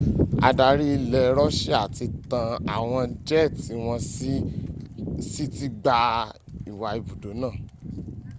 àdarí ilẹ̀ russia ti tan àwọn jẹ́ẹ̀tì wọ́n sí ti gba ìwa ibùdó náà